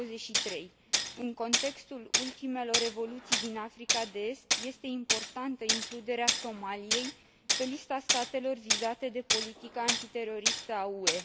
23. În contextul ultimelor evoluții din Africa de Est, este importantă includerea Somaliei pe lista statelor vizate de politica antiteroristă a UE.